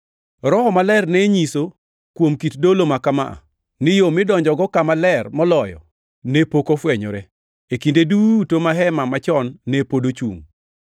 Roho Maler ne nyiso, kuom kit dolo maka ma, ni yo midonjogo Kama Ler Moloyo ne pok ofwenyore, e kinde duto ma hema machon ne pod ochungʼ!